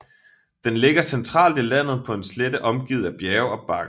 Den ligger centralt i landet på en slette omgivet af bjerge og bakker